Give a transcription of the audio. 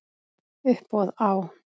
Uppboð á